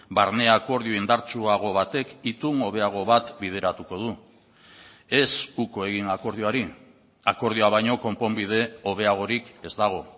barne akordio indartsuago batek itun hobeago bat bideratuko du ez uko egin akordioari akordioa baino konponbide hobeagorik ez dago